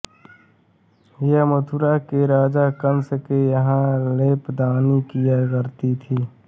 यह मथुरा के राजा कंस के यहाँ लेपनादी किया करती थी